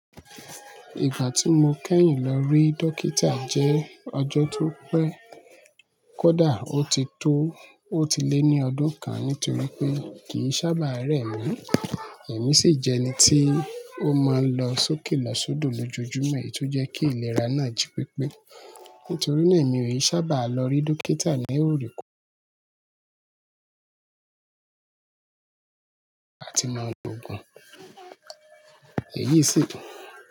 Ìgbà tí mo kẹ́yìn lọ rí dókítà jẹ́ ọjọ́ tó pẹ́. Kódà ó ti tó, ó ti lé ní ọdún kan nítorí pé kì sábà rẹ mí. Ẹ̀mí sì jẹ́ ẹni tí ó máa ń lọ sókè lọ sódò lójoojúmo, èyí tó jẹ́ kí ìlera náà jí pépé. Nítorí náà èmi ò sábà lọ rí dókítà ní òre ko àti máa lo òògùn. Èyí sìi hm-